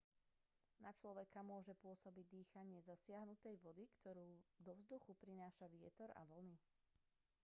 na človeka môže pôsobiť dýchanie zasiahnutej vody ktorú do vzduchu prináša vietor a vlny